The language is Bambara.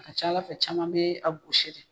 A ka ca Ala fɛ caman bee a gosi de.